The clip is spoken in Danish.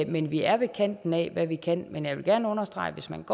men vi er ved kanten af hvad vi kan men jeg vil gerne understrege at hvis man